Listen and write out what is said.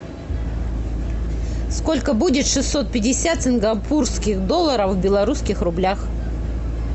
сколько будет шестьсот пятьдесят сингапурских долларов в белорусских рублях